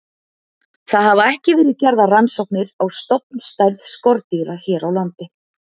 Það hafa ekki verið gerðar rannsóknir á stofnstærð skordýra hér á landi.